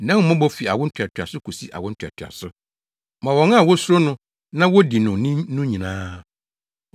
nʼahummɔbɔ fi awo ntoatoaso kosi awo ntoatoaso ma wɔn a wosuro no na wodi no ni no nyinaa.